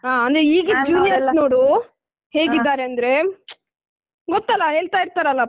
ಹಾ ಅಂದ್ರೆ ಈಗಿನ್ juniors ನೋಡು ಹೇಗಿದ್ದಾರಂದ್ರೆ ಗೊತ್ತಲ ಹೇಳ್ತಾ ಇರ್ತಾರಲ್ಲ ಪವಿತ್ರ ma'am .